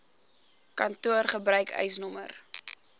kantoor gebruik eisnr